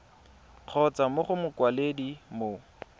kgotsa mo go mokwaledi mo